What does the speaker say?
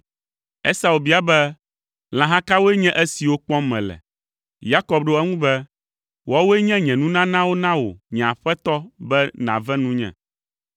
Esau bia be, “Lãha kawoe nye esiwo kpɔm mele?” Yakob ɖo eŋu be, “Woawoe nye nye nunanawo na wò nye aƒetɔ be nàve nunye.”